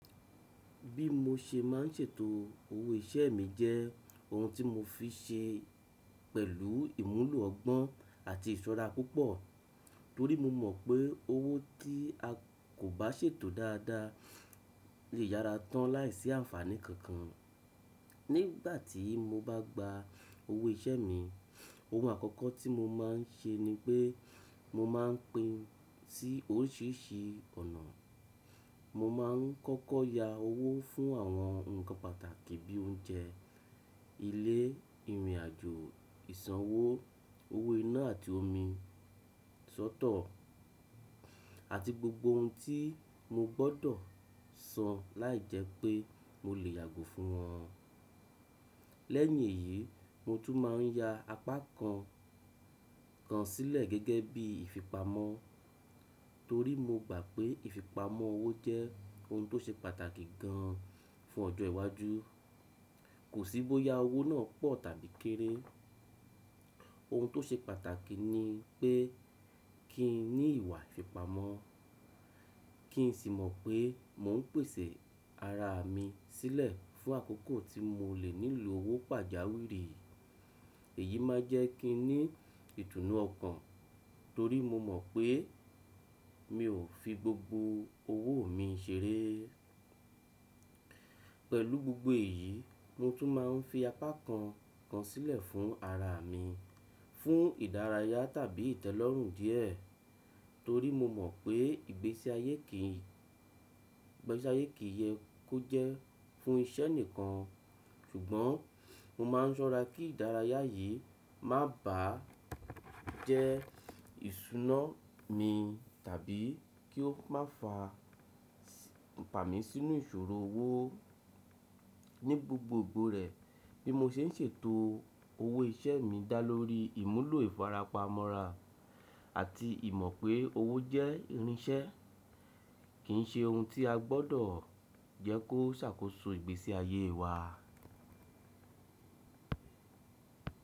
Bí mo ṣe ma ń ṣètò owó iṣẹ́ mi jẹ́ ohun tí mo fi ṣe pẹ̀lú ìmúlò ọgbọ́n àti ìṣọ́ra púpọ̀ torí mo mọ̀ pé owó tí a kò bá ṣètò dáadáa lè yára tán láìsí àǹfàní kankan. Nígbà tí mo bá gba owó iṣẹ́ mi, ohun àkọ́kọ́ tí mo má ń ṣe ni pé mo má ń pín sí oríṣìíríṣìí ọ̀nà. Mo má ń kọ́kọ́ ya owó fún àwọn ǹkan pàtàkì bíi oúnjẹ, ilé, ìrìnàjò, ìsanwó, owó iná àti omi, sọ́tọ̀ àti gbogbo ohun tí mo gbọ́dọ̀ san láìjẹ́ pé mo lè yàgò fún wọn. Lẹ́yìn èyí, mo tún má ń ya apá kan kan sílẹ̀ gẹ́gẹ́ bí ìfipamọ́ torí mo gbà pé ìfipamọ́ owó jẹ́ ohun tó ṣe pàtàkì gan an fún ọjọ́ iwájú. Kò sí bóya owó náà pọ̀ tàbí kéré. Ohun tó ṣe pàtàkì ni pé kí n ní ìwà ìfipamọ́, kí n sì mọ̀ pé mò ń pèsè ara mi sílẹ̀ fún àkókò tí mo lè nílò owó pàjáwìrì. Èyí má ń jẹ́ kí n ní ìtùnú ọkàn torí mo mọ̀ pé mi ò fi gbogbo owó mi ṣeré. Pẹ̀lú gbogbo èyí, mo tún má ń fi apá kan kan sílẹ̀ fún ara mi, fún ìdárayá tàbí ìtẹ́lọ́rùn díẹ̀ torí mo mọ̀ pé ìgbésí ayé kì í, ìgbésí ayé kì í yẹ kó jẹ́ fún iṣẹ́ nìkan. Ṣùgbọ́n mo má ń ṣọ́ra kí ìdárayá yìí má bà á jẹ́ ìṣúná mi tàbí kí ó má fa fami sínú ìṣòro owó ní gbogbogbò rẹ̀. Bí mo ṣe ń ṣètò owó iṣẹ́ mi dá lórí ìmúlò ìfarapa mọ́ra àti ìmọ̀ pé owó jẹ́ irinṣẹ́, kì í ṣe ohun tí a gbọ́dọ̀ jẹ́ kó ṣàkóso ìgbésí ayé wa.